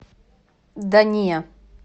да не